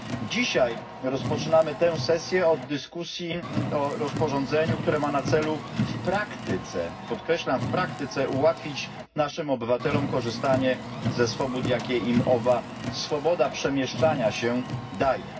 Dzisiaj rozpoczynamy tę sesję od dyskusji o rozporządzeniu, które ma na celu w praktyce podkreślam, w praktyce ułatwić naszym obywatelom korzystanie ze swobód, jakie im owa swoboda przemieszczania się daje.